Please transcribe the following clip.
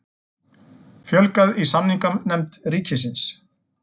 Fjölgað í samninganefnd ríkisins